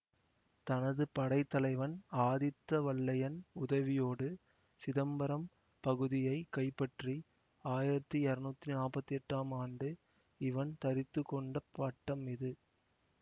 தனது படைத்தலைவன் ஆதித்த வல்லையன் உதவியோடு சிதம்பரம் பகுதியை கைப்பற்றி ஆயிரத்தி இருநூத்தி நாப்பத்தி எட்டாம் ஆண்டு இவன் தரித்துக்கொண்ட பட்டம் இது